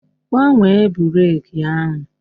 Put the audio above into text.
Gbanwee breeki ahụ!